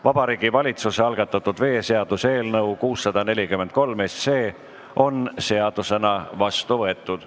Vabariigi Valitsuse algatatud veeseaduse eelnõu on seadusena vastu võetud.